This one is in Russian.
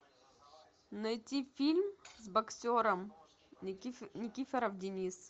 найти фильм с боксером никифоров денис